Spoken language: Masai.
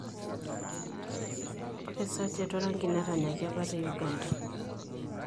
Ore Sachet waragi netanyaki apa te Uganda.